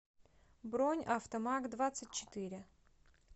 бронь автомагдвадцатьчетыре